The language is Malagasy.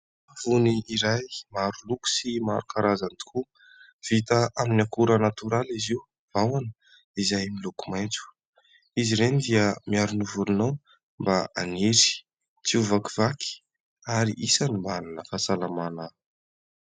Savony iray maroloko sy maro karazany tokoa, vita amin'ny akora natoraly izy io, vahona, izay miloko maitso. Izy ireny dia miaro ny volonao mba haniry, tsy ho vakivaky, ary isany mba hanana fahasalamana.